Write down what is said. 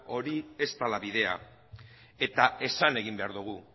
hori ez dela bidea eta esan egin behar dugu